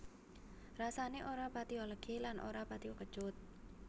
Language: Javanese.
Rasané ora patiya legi lan ora patiya kecut